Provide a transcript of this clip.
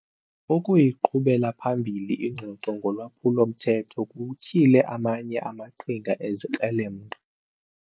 Ukuyiqhubela phambili ingxoxo ngolwaphulo-mthetho kutyhile amanye amaqhinga ezikrelemnqa.